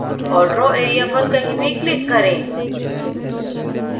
और draw area पर कहीं भी click करें